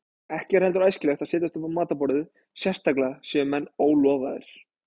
Ekki er heldur æskilegt að setjast upp á matarborðið, sérstaklega séu menn ólofaðir.